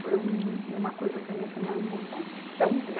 Foi um, uma coisa para mim, assim, uma emoção tão gran